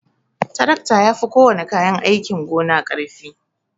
Tarakta yafi kowana kayan aikin gona karfi.